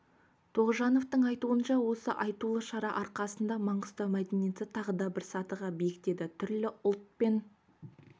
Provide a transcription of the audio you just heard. тоғжановтың айтуынша осы айтулы шара арқасында маңғыстау мәдениеті тағы бір сатыға биіктеді түрлі ұлт пен